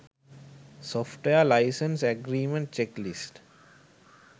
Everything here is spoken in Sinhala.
software license agreement checklist